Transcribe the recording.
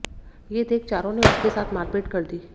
ये देख चारों ने उसके साथ मारपीट कर दी